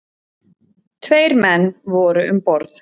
Tveir menn voru um borð.